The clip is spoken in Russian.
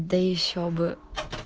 да ещё бы